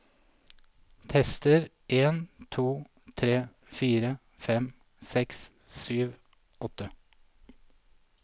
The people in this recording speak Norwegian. Tester en to tre fire fem seks sju åtte